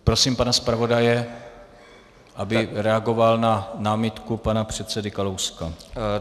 Prosím pana zpravodaje, aby reagoval na námitku pana předsedy Kalouska.